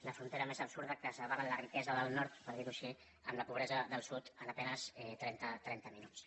la frontera més absurda que separa la riquesa del nord per dir ho així amb la pobresa del sud en a penes trenta minuts